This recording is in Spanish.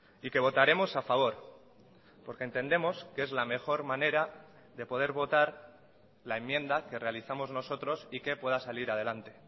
y que votaremos a favor porque entendemos que es la mejor manera de poder votar la enmienda que realizamos nosotros y que pueda salir adelante